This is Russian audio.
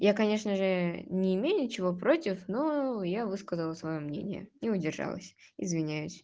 я конечно же не имею ничего против но я высказала своё мнение не удержалась извиняюсь